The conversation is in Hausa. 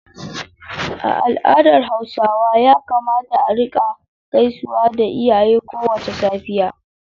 A al’adar Hausawa ya kamata a rika gaisawa da iyaye kowace safiya.